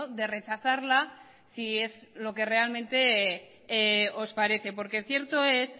de rechazarla si es lo que realmente os parece porque cierto es